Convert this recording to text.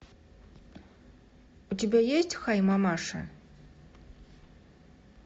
у тебя есть хай мамаша